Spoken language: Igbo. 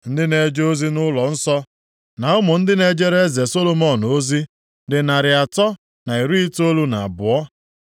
Ndị na-eje ozi nʼụlọnsọ, na ụmụ ndị na-ejere eze Solomọn ozi, dị narị atọ na iri itoolu na abụọ (392).